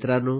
मित्रांनो